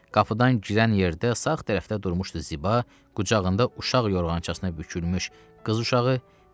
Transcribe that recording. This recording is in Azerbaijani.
Qapıdan girən yerdə sağ tərəfdə durmuşdu Ziba, qucağında uşaq yorğançasına bükülmüş qız uşağı.